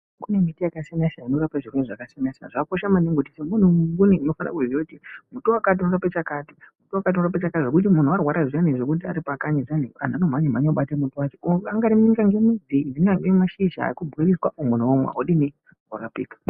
Kune miti yakasiyana-siyana inorape zvirwere zvakasiyana-siyana. Zvakakosha maningi kuti umwe anaumwe unofana kuziya kuti muti wakati unope chakati, muti wakati unorape chakati, zvekuti munhu arwara zviyani zvekuti ari pakanyi zviyani, anhu anomhanye-mhanye kubate muti wacho anyari ingange midzi angange mashizha obhoiliswa, munhu omwa, odini ,orapika.